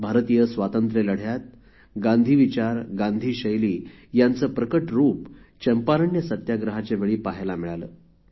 भारतीय स्वातंत्र्यलढ्यात गांधी विचार गांधी शैली यांचे प्रकट रूप चंपारण्य सत्याग्रहाच्यावेळी पहायला मिळाले